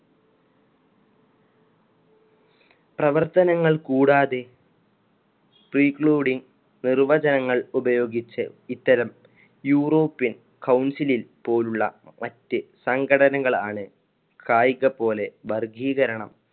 പ്രവർത്തനങ്ങൾ കൂടാതെ precluding നിർവചനങ്ങള്‍ ഉപയോഗിച്ച് ഇത്തരം യൂറോപ്യൻ council ൽ പോലുള്ള മറ്റു സംഘടനകളാണ് കായിക പോലെ വർഗീകരണം